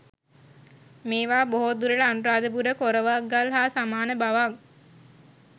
මේවා බොහෝ දුරට අනුරාධපුර කොරවක්ගල් හා සමාන බවක්